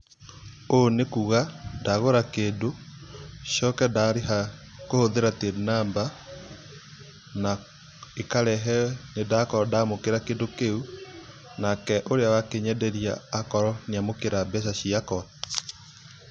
Ũũ nĩkuga, ndagũra kĩndũ, coka ndahũthĩra Till number na ĩkarehe nĩndakorwo ndaamũkĩra kĩndũ kĩu, nake ũrĩa wakĩnyenderia akorwo nĩ amũkĩra mbeca ciakwa.